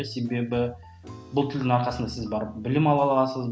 себебі бұл тілдің арқасында сіз барып білім ала аласыз